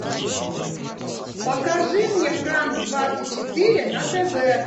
покажи мне франс двадцать четыре на тв